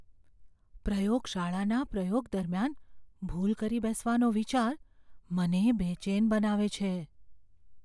પ્રયોગશાળાના પ્રયોગ દરમિયાન ભૂલ કરી બેસવાનો વિચાર મને બેચેન બનાવે છે.